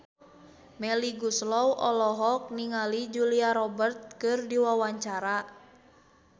Melly Goeslaw olohok ningali Julia Robert keur diwawancara